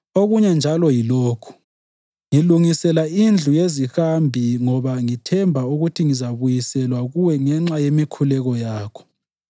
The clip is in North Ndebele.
Okunye njalo yilokhu: Ngilungisela indlu yezihambi ngoba ngithemba ukuba ngizabuyiselwa kuwe ngenxa yemikhuleko yakho.